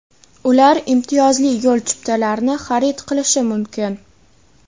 Ular imtiyozli yo‘l chiptalarini xarid qilishi mumkin.